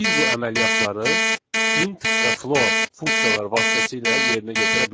Biz bu əməliyyatları int və float funksiyaları vasitəsilə yerinə yetirə bilərik.